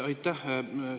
Aitäh!